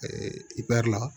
i bɛ la